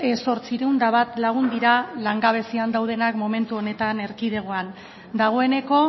zortziehun eta bat lagun dira langabezian daudenak momentu honetan erkidegoan dagoeneko